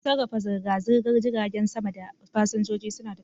Don sarrafa zirga-zirgar jiragen sama da fasinjoji, suna da tashoshi.